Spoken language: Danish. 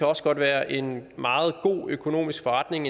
også godt være en meget god økonomisk forretning